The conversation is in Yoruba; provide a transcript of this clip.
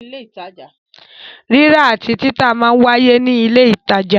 Rírà àti títà máa ń wáyé ní ilé ìtajà.